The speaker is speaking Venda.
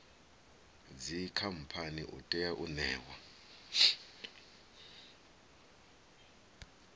dzikhamphani u tea u ṋewa